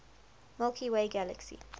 milky way galaxy